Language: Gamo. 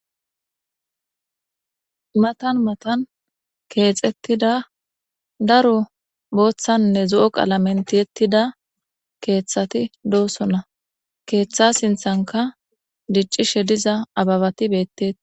matan matan keexettida daro booththanne zo7o qala menti yettida keeththati doosonna keeththa sinthanka diccishe diza ababati beetteti